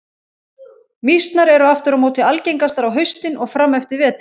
Mýsnar eru aftur á móti algengastar á haustin og fram eftir vetri.